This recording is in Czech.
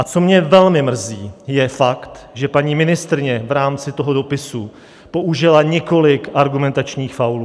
A co mě velmi mrzí, je fakt, že paní ministryně v rámci toho dopisu použila několik argumentačních faulů.